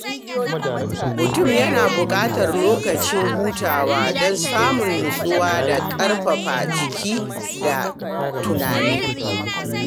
Mutum yana buƙatar lokaci hutawa don samun nutsuwa da ƙarfafa jiki da tunani.